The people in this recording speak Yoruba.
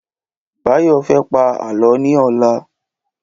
Báyọ̀ fẹ́ pá Àlọ́ ni ọlá.